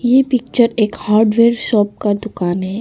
ये पिक्चर एक hardware shop का दुकान है।